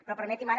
però permeti’m ara